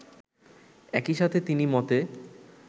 একই সাথে তিনি মতে